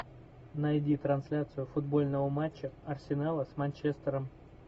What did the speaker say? найди трансляцию футбольного матча арсенала с манчестером